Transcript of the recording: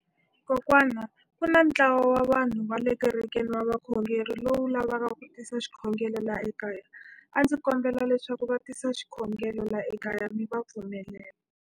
Kokwana ku na ntlawa wa vanhu va le kerekeni va vakhongeri lowu lavaka ku tisa xikhongelo laha ekaya. A ndzi kombela leswaku va tisa xikhongelo laha ekaya mi va pfumelela.